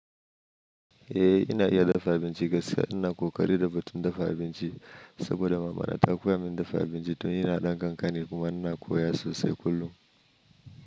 Eh ina iya dafa abinci gaskiya ina kokari da batun dafa abinci saboda mamana ta koya min dafa abinci tun ina ɗan kankani kuma ina koya sosai kullum.